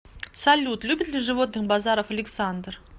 салют любит ли животных базаров александр